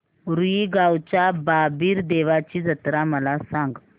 रुई गावच्या बाबीर देवाची जत्रा मला सांग